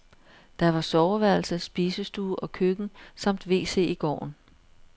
Der var soveværelse, spisestue og køkken samt wc i gården.